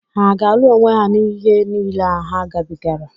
Hà aga-alụ onwe ha n'ihe niile a ha gabigara?